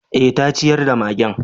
Eh, ta ciyar da magen.